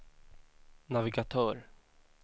navigatör